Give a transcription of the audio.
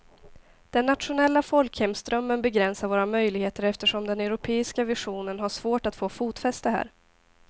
Den nationella folkhemsdrömmen begränsar våra möjligheter eftersom den europeiska visionen har svårt att få fotfäste här.